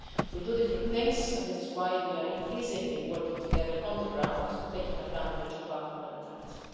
We do different things, and this is why we are increasingly working together on the ground, taking advantage of our complementarity.